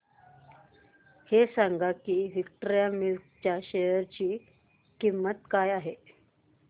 हे सांगा की विक्टोरिया मिल्स च्या शेअर ची किंमत काय आहे